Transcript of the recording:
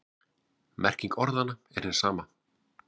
Merking orðanna er hin sama.